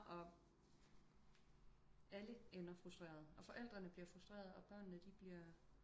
Og alle ender frustreret og forældrene de bliver frustreret og børnene de bliver